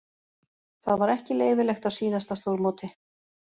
Það var ekki leyfilegt á síðasta stórmóti.